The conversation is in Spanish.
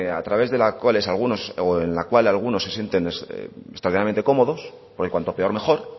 a través de la cual algunos se sienten extraordinariamente cómodos porque cuanto peor mejor